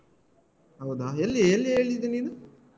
ಹೌದಾ ಎಲ್ಲಿ ಎಲ್ಲಿ ಹೇಳಿದ್ದು ನೀನು?